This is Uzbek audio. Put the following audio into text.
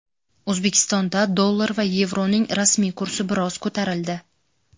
O‘zbekistonda dollar va yevroning rasmiy kursi biroz ko‘tarildi.